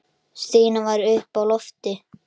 Stína var uppi á lofti.